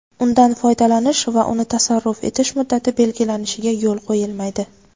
undan foydalanish va uni tasarruf etish muddati belgilanishiga yo‘l qo‘yilmaydi.